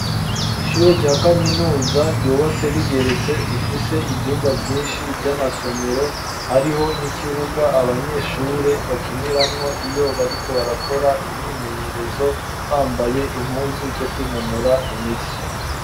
Ishure rya kaminuza, ryubatse rigeretse, rifise ivyumba vyinshi, vy'amasomero; hariho n'ikibuga, abanyeshure bakiniramwo, iyo bariko barakora imyimenyerezo, bambaye impuzu, zo kwinonora imitsi.